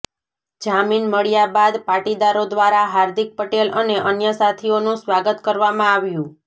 જામીન મળ્યા બાદ પાટીદારો દ્વારા હાર્દિક પટેલ અને અન્ય સાથીઓનું સ્વાગત કરવામાં આવ્યું